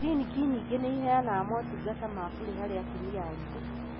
Cliniki nyingĩ nĩciheanaga motungata ma bure harĩ atumia aritũ.